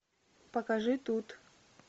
покажи тут